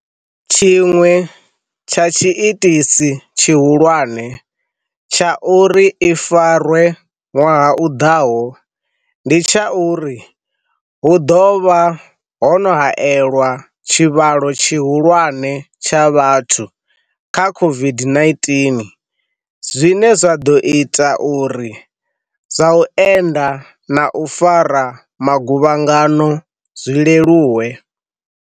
Tshiṅwe tsha tshiitisi tshihulwane tsha uri i farwe ṅwaha u ḓaho ndi tsha uri hu ḓo vha ho no haelwa tshivhalo tshihulwane tsha vhathu kha COVID-19, zwine zwa ḓo ita uri zwa u enda na u fara magu vhangano zwi leluwe.